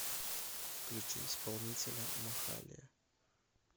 включи исполнителя махалия